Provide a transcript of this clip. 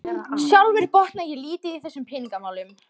Sjálfur botna ég lítið í þessum peningamálum